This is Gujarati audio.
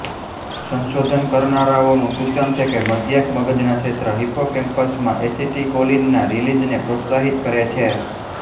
સંશોધન કરનારાઓનું સૂચન છે કે મદ્યાર્ક મગજના ક્ષેત્ર હિપ્પોકેમ્પસમાં એસિટીકોલિનના રિલિઝને પ્રોત્સાહિત કરે છે